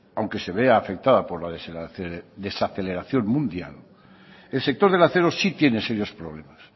aunque se vea afectada por la desaceleración mundial el sector del acero sí tiene serios problemas